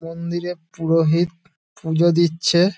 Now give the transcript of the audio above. মন্দিরে পুরোহিত পুজো দিচ্ছে |